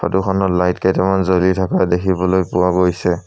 ফটোখনৰ লাইট কেইটামান জ্বলি থকা দেখিবলৈ পোৱা গৈছে।